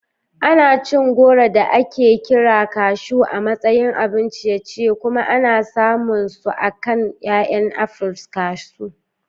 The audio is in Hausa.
Ana cin goro da ake kira Kashu a matsayin abun ciye-ciye kuma ana samun su akan 'ya'yan apples Kashu.